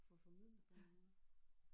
Får formidlet på en eller anden måde